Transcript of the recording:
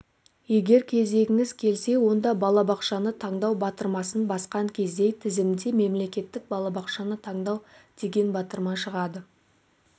егер кезегіңіз келсе онда балабақшаны таңдау батырмасын басқан кезде тізімде мемлекеттік балабақшаны таңдау деген батырма шығады